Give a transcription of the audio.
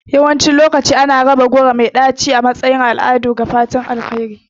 Yawancin lokaci ana raba goro mai ɗaci da cinyewa yayin taron zamantakewa da al'adu a matsayin alamar fatan alheri.